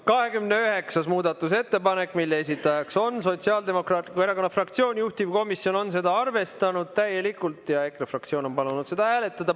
29. muudatusettepanek, mille esitajaks on Sotsiaaldemokraatliku Erakonna fraktsioon, juhtivkomisjon on seda arvestanud täielikult ja EKRE fraktsioon on palunud seda hääletada.